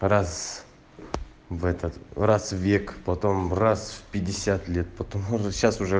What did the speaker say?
раз в этот раз в век потом раз в пятьдесят потом сейчас уже